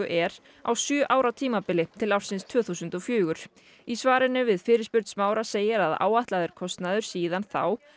er á sjö ára tímabili til ársins tvö þúsund og fjögur í svarinu við fyrirspurn Smára segir að áætlar kostnaður síðan þá